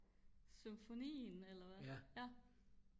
symfonien eller hvad